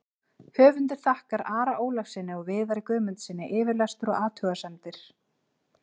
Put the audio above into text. Höfundur þakkar Ara Ólafssyni og Viðari Guðmundssyni yfirlestur og athugasemdir.